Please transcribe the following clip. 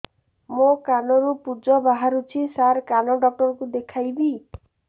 ମୋ କାନରୁ ପୁଜ ବାହାରୁଛି ସାର କାନ ଡକ୍ଟର କୁ ଦେଖାଇବି